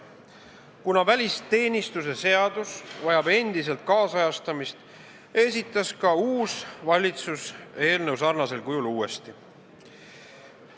Kuna välisteenistuse seadus vajab endiselt nüüdisajastamist, esitas ka uus valitsus eelnõu sarnasel kujul uuesti.